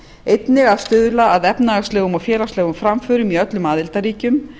einnig að stuðla að efnahagslegum og félagslegum framförum í öllum aðildarríkjum